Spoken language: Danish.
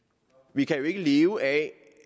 vi kan jo ikke leve af